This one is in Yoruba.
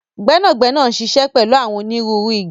Gbẹnagbẹna n ṣíṣẹ pẹlu àwọn ónirùru ìgi.